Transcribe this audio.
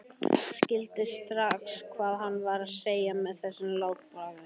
Skildi strax hvað hann var að segja með þessu látbragði.